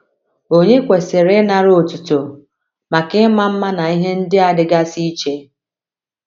Ònye kwesịrị ịnara otuto maka ịma mma na ihe ndị a dịgasị iche?